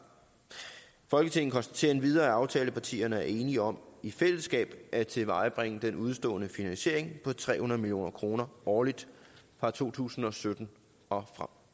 folketinget konstaterer endvidere at aftalepartierne er enige om i fællesskab at tilvejebringe den udestående finansiering på tre hundrede million kroner årligt fra to tusind og sytten og